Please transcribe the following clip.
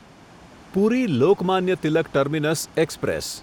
puri Lokmanya Tilak terminus express